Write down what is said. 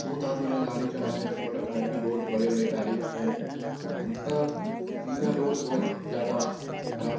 बहुत आदमी यहाँ गाड़ी चला रहे हैं मोटरसाइकिल बहुत बड़े-बड़े गाड़ी भी हैं और यह रोड बहोत ज्यादा ख़राब --